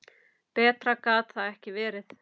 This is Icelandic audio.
Betra gat það ekki verið.